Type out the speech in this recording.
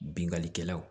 Bingani kɛlaw